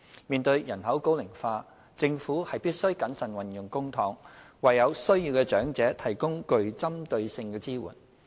面對人口高齡化，政府必須審慎運用公帑，為有需要的長者提供具針對性的支援。